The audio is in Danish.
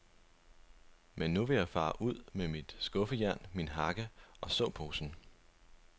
Men nu vil jeg fare ud med mit skuffejern, min hakke og såposen.